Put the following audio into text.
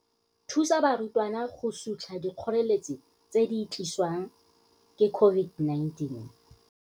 Thusa barutwana go sutlha dikgoreletsi tse di tlisiwang ke COVID-19.